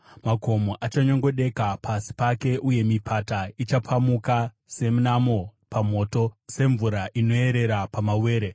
Makomo achanyongodeka pasi pake uye mipata ichapamuka, senamo pamoto, semvura inoyerera pamawere.